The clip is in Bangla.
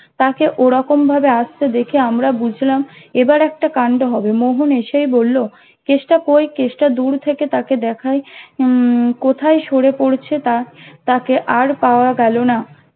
তাকে ওরকম ভাবে আসতে দেখে আমরা বুঝলাম এবার একটা কান্ড হবে মোহন এসেই বলল কেষ্টা কই কেষ্টা দূর থেকে তাকে দেখে উম কোথায় সরে পড়েছে তা তাকে আর পাওয়া গেল না